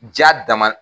Ja dama